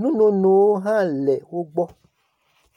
nunonowo hã le wo gbɔ.